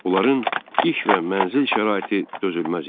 Onların iş və mənzil şəraiti dözülməz idi.